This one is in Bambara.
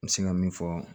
N bɛ se ka min fɔ